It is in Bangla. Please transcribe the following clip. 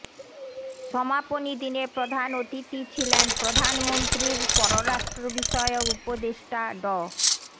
সমাপনী দিনে প্রধান অতিথি ছিলেন প্রধানমন্ত্রীর পররাষ্ট্রবিষয়ক উপদেষ্টা ড